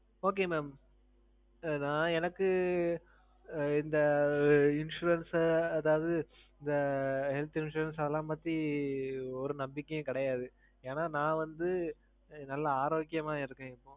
Okay mam. ஏன்னா எனக்கு. இந்த insurance அதாவது, இந்த health insurance அதெல்லாம் பத்தி, ஒரு நம்பிக்கையே கிடையாது. ஏன்னா நான் வந்து நல்லா ஆரோக்கியமா இருக்கேன் இப்போ.